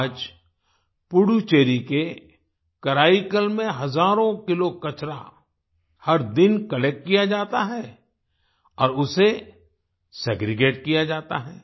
आज पुडुचेरी के कराईकल में हजारों किलो कचरा हर दिन कलेक्ट किया जाता है और उसे सेग्रीगेट किया जाता है